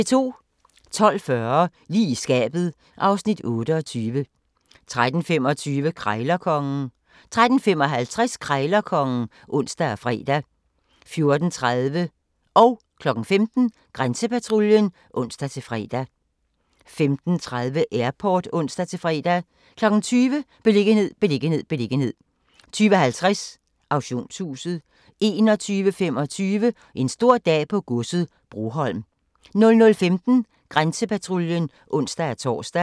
12:40: Lige i skabet (Afs. 28) 13:25: Krejlerkongen 13:55: Krejlerkongen (ons og fre) 14:30: Grænsepatruljen (ons-fre) 15:00: Grænsepatruljen (ons-fre) 15:30: Airport (ons-fre) 20:00: Beliggenhed, beliggenhed, beliggenhed 20:50: Auktionshuset 21:25: En stor dag på godset - Broholm 00:15: Grænsepatruljen (ons-tor)